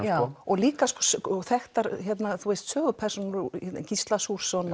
já og líka þekktar sögupersónur Gísla Súrsson